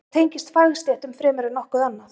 Þetta tengist fagstéttum fremur en nokkuð annað.